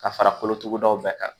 Ka fara kolotugudaw bɛɛ kan